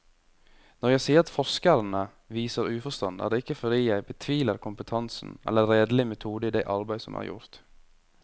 Når jeg sier at forskerne viser uforstand, er det ikke fordi jeg betviler kompetansen eller redelig metode i det arbeid som er gjort.